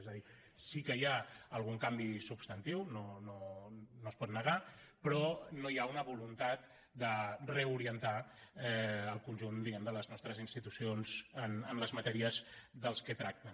és a dir sí que hi ha algun canvi substantiu no es pot negar però no hi ha una voluntat de reorientar el conjunt de les nostres institucions en les matèries de què tracten